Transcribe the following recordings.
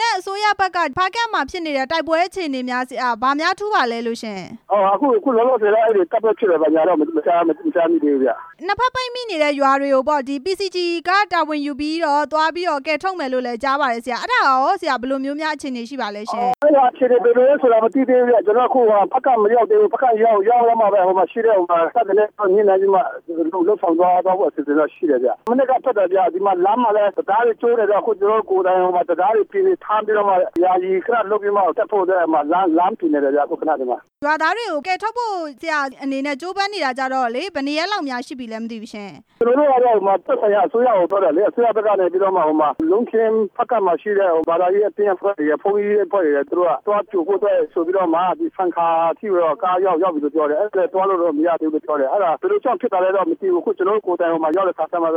နဲ့ အစိုးရဘက်က ဖားကန့်မှာဖြစ်နေတဲ့ တိုက်ပွဲအခြေအနေတွေ ဆရာ ဘာများထူးပါလဲလို့ရှင့်။ အခုလောလောဆယ်တော့ တိုက်ပွဲဖြစ်တယ်ပေါ့ဗျာ၊ဒါကတော့ မထူးခြားသေးဘူးဗျ။ နှစ်ဘက်ပတ်မိနေတဲ့ ရွာတွေကိုပေါ့ ပီစီဂျီက တာဝန်ယူပြီးတော့ သွားပြီးတော့ ကယ်ထုတ်မယ် လို့လည်း ကြားပါတယ်ဆရာ၊ အဲ့ဒါကရောဆရာ ဘယ်လိုမျိုးများ အခြေအနေရှိပါလဲရှင့်။ အဲ့ဒါအခြေအနေ ဘယ်လိုလဲဆိုတာ မသိသေးဘူးဗျ၊ ကျနော်တို့အခု ဖားကန့်ကို မရောက်သေးဘူး၊ ဖားကန့်ရောက်သွားမှပဲ ဟိုမှာရှိတဲ့တပ်တွေနဲ့ ညှိနှိုင်းပြီးမှ လုပ်ဆောင်သွားဖို့ အစီအစဉ်ရှိပါတယ်ဗျ၊ မနက်ကထွက်လာကတည်းက လမ်းမှာလည်း တံတားတွေကျိုးတယ်ဗျာ၊ ကျနော်တို့ တံတားတွေပြင်ပြီးတော့မှ ယာယီ တက်ဖို့အတွက် လမ်းပြင်နေတယ်ဗျ။ ရွာသားတွေကိုကယ်ထုတ်ဖို့ ဆရာ့အနေနဲ့ ကြိုးပမ်းနေတာကျတော့လေ ဘယ်နှစ်ရက်လောက် များ ရှိပြီလည်းမသိဘူးရှင့်။ ကျနော်တို့ အဲ့ဒါကို သက်ဆိုင်ရာအစိုးရကို ပြောတယ်လေ၊ အစိုရဘက်ကနေပြီးမှ ဟိုမှာ လုံးခင်း၊ ဖားကန့်မှာရှိတဲ့ ဘာသာရေးအသင်းအဖွဲ့တွေ၊ ဘုန်းကြီးအဖွဲ့တွေ သူတို့က ကြိုဖို့သွားတယ်ဆိုပြီးမှ ဆန်ခါအထိကိုတော့ ကားရောက်ပြီလို့ပြောတယ်၊ ဆက်သွားလို့တော့ မရသေးဘူးပြောတယ်၊ အဲ့ဒါဘယ်လိုကြောင့် ဖြစ် သွားလဲတော့မသိဘူး၊ ကျနော်တို့ ကိုယ်တိုင်ရောက်တဲ့အခါကျတော့မှပဲ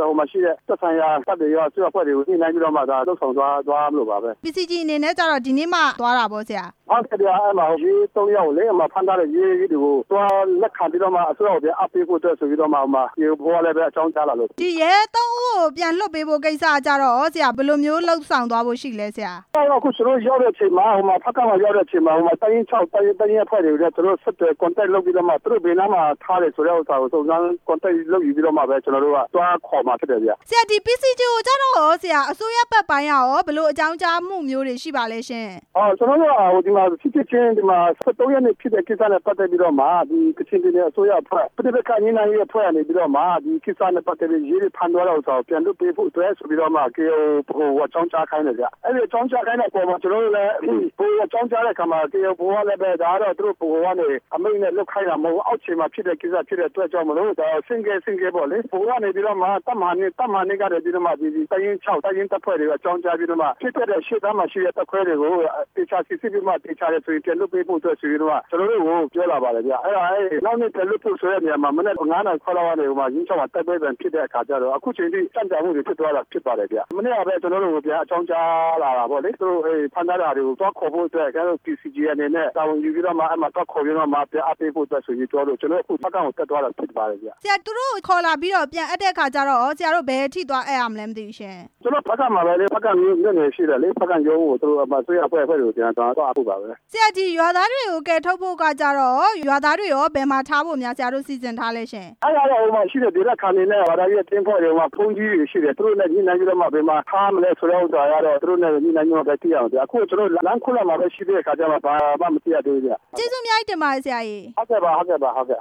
သက်ဆိုင်ရာတပ်တွေက အစိုးရအဖွဲ့တွေကို ညှိနှိုင်းပြီးမှ လုပ်ဆောင်သွားရမှာပါပဲ။ ပီစီဂျီအနေနဲ့ကျတော့ ဒီနေ့မှ သွားတာပေါ့နော် ဆရာ။ ဟုတ်တယ်ဗျာ အဲ့ဒီမှာ ရဲ ၃ ယောက်ကိုလေ အဲ့ဒီမှာဖမ်းထားတယ်၊ ရဲတွေကိုသွား လက်ခံပြီးတော့မှ အစိုးရကို ပြန်အပ်ပေးဖို့အတွက်ဆိုပြီးတော့မှ ဟိုမှာ ဗဟိုကလည်း အကြောင်းကြားလာလို့။ ရဲ ၃ ဦးကို ပြန်လွှတ်ပေးဖို့အတွက်ကိုရော ဆရာ ဘယ်လိုမျိုးလုပ်ဆောင် သွားဖို့ရှိလဲ ဆရာ။ ကျနော်တို့ရောက်တဲ့အချိန်မှာ ဟိုမှာဖားကန့်မှာ ရောက်တဲ့အချိန်မှာ တပ်ရင်း ၆ တပ်ရင်းအဖွဲ့တွေကို ကျနော်တို့ ဆက်သွယ်ပြီးတော့မှ သူတို့ဘယ်နားထားတယ်ဆိုတာ စုံစမ်းဆက်သွယ်ပြီးတော့မှပဲ ကျနော်တို့က သွားခေါ်မှာဖြစ်တယ်ဗျ။ ပီစီဂျီကိုကျတော့ရော ဆရာ အစိုးရစစ်တပ်ပိုင်းကရော ဘယ်လိုအကြောင်းကြားမှုမျိုးတွေ ရှိပါလဲရှင့်။ ကျနော်တို့က ဖြစ်ဖြစ်ချင်း ဒီမှာ ၁၃ ရက်နေ့ဖြစ်တဲ့ကိစ္စနဲ့ ပတ်သက်လို့တော့မှ ကချင်ပြည်နယ် အစိုးရအဖွဲ့၊ ပဋိက္ခညှိနှိုင်းရေးအဖွဲ့ကနေပြီးတော့မှ အခုကိစ္စနဲ့ပတ်သက်လို့တော့ ရဲတွေကိုဖမ်းသွား တာကို ပြန်လွှတ်ပေးဖို့အတွက်ဆိုပြီးမှ ကေအိုင်အို ဗဟိုကို အကြောင်းကြာခိုင်းတယ်ခင်ဗျ၊ အဲ့ဒီအကြောင်းကြားခိုင်း တဲ့အပေါ်မှာ ကျနော်တို့ ဗဟိုကို အကြောင်းကြားတဲ့အခါမှာ ဗဟိုကလည်း သူတို့ဗဟိုကနေအမိန့်နဲ့ လုပ်ခိုင်းတာ မဟုတ်ဘူး၊ အောက်ခြေမှာဖြစ်တဲ့ ကိစ္စဖြစ်တဲ့အတွက်ကြောင့်မို့လို့ ဒါကိုဆင့်ကဲဆင့်ကဲပေါ့လေ ဗဟိုကနေပြီးမှ တပ်မဟာ ၂ တပ်မဟာ ၂ ကနေပြီးတော့မှ တပ်ရင်း ၆ တပ်ရင်းတပ်ဖွဲ့တွေကို အကြောင်းကြားပြီးတော့မှ ဖြစ်ခဲ့ တဲ့ရှေ့တန်းမှာရှိတဲ့ တပ်ခွဲတွေကို သေချာစိစစ်ပြီးမှ သေချာတယ်ဆိုရင် ပြန်လွှတ်ပေးဖို့အတွက်ဆိုပြီး ကျနော်တို့ ကိုပြောပါတယ်ဗျ၊ အဲ့ဒီနောက်နေ့ပြန်လွှတ်ဖို့ဆိုတဲ့နေရာမှ မနက်ဖြန် ၅ နာရီခွဲလောက်ကနေပြီးမှ တိုက်ပွဲပြန်ဖြစ်တဲ့ အခါကျတော့ အခုအချိန်အထိ ကြန့်ကြာမှုတွေဖြစ်သွားတာ ဖြစ်ပါတယ်ဗျ၊ မနေ့ကပဲ ကျနော်တို့ကိုဗျာ အကြောင်းကြား တာပေါ့လေ၊ သူတို့အဲ့ဒီ ဖမ်းထားတာတွေကို သွားခေါ်ဖို့အတွက် ကျနော်တို့ ပီစီဂျီအနေနဲ့ တာဝန်ယူပြီးတော့မှ အဲ့ဒီမှာသွားခေါ်ပြီးတော့ ပြန်အပ်ပေးဖို့ဆိုပြီးသွားလို့ အခုကျနော်တို့ ဖားကန့်ကိုတက်သွားတာဖြစ်ပါတယ်ခင်ဗျ။ ဆရာ သူတို့ကို ခေါ်လာပြီးတော့ ပြန်အပ်တဲ့အခါကျတော့ရော ဆရာတို့ ဘယ်အထိသွားအပ် ရမလဲမသိဘူးရှင့်။ ကျနော်တို့ ဖားကန့်မှာပဲလေ အစိုးရအဖွဲ့တွေကို ပြန်သွားအပ်ဖို့ပါပဲ။ ဆရာ ရွာသားတွေကို ကယ်ထုတ်ဖို့ကျတော့ရော ရွာသားတွေကို ဘယ်မှာထားဖို့ ဆရာတို့ စီစဉ်ထားလဲရှင့်။ အဲ့ဒါတော့ ဟိုမှာရှိတဲ့ဒေသခံတွေနဲ့ ဘာသာရေးအသင်းအဖွဲ့တွေ၊ ဘုန်းကြီးတွေရှိ တယ်၊ သူတို့နဲ့ ညှိနှိုင်းပြီးတော့မှ ဘယ်မှာထားရမလဲဆိုတဲ့ဥစ္စာကတော့ သူတို့နဲ့ ညှိနှိုင်းပြီးမှ သိရမယ်ဗျာ၊ အခု ကျနော်တို့ လမ်းခုလက်မှာပဲရှိသေးတဲ့အခါကျတော့ ဘာမှမသိရသေးဘူဗျ။ ကျေးဇူးအများကြီး တင်ပါတယ် ဆရာရေ။ ဟုတ်ကဲ့ပါ၊ ဟုတ်ကဲ့ပါ၊ ဟုတ်ကဲ့